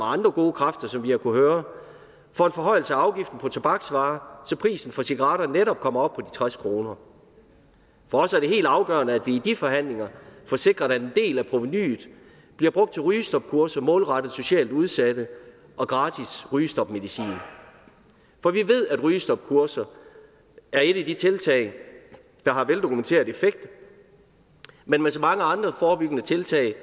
andre gode kræfter som vi har kunnet høre for en forhøjelse af afgiften på tobaksvarer så prisen for cigaretter netop kommer op på tres kroner for os er det helt afgørende at vi i de forhandlinger får sikret at en del af provenuet bliver brugt til rygestopkurser målrettet socialt udsatte og gratis rygestopmedicin for vi ved at rygestopkurser er et af de tiltag der har veldokumenteret effekt men med så mange andre forebyggende tiltag